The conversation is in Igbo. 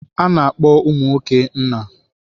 A na-akpọ ụmụ nwoke nna.